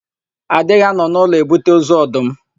A dịghị anọ n'ụlọ ebute ozu ọdụm.